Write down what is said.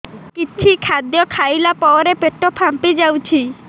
କିଛି ଖାଦ୍ୟ ଖାଇଲା ପରେ ପେଟ ଫାମ୍ପି ଯାଉଛି